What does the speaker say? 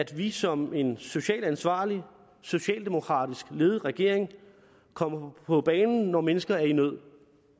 vi som en socialt ansvarlig socialdemokratisk ledet regering kommer på banen når mennesker er i nød